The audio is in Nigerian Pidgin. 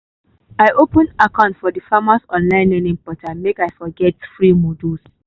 i open account for di farmer online learning portal make i for fit get free modules